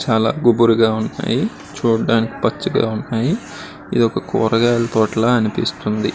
చాలా గుబురుగా ఉన్నాయి చూడడానికి పచ్చగా ఉన్నాయి ఇదొక కూరగాయల తోట లాగా అనిపిస్తుంది.